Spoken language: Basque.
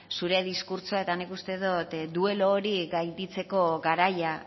zure diskurtsoa eta nik uste dot duelo hori gainditzeko garaia